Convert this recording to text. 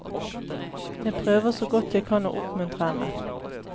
Jeg prøver så godt jeg kan å oppmuntre henne.